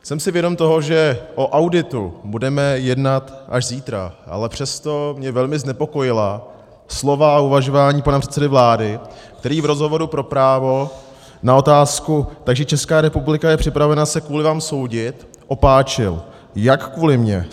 Jsem si vědom toho, že o auditu budeme jednat až zítra, ale přesto mě velmi znepokojila slova a uvažování pana předsedy vlády, který v rozhovoru pro Právo na otázku "Takže Česká republika je připravena se kvůli vám soudit?" opáčil: Jak kvůli mně?